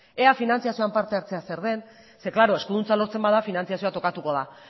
ea finantziazioan parte hartzea zer den ze klaro eskuduntza lortzen bada finantziazioa tokatuko da